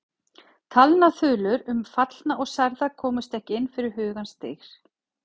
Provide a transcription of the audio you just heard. Talnaþulur um fallna og særða komust ekki inn fyrir hugans dyr.